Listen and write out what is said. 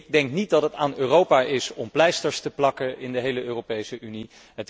Ik denk niet dat het aan Europa is om pleisters te plakken in de hele Europese Unie.